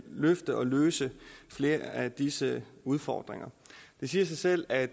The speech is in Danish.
løfte og løse flere af disse udfordringer det siger sig selv at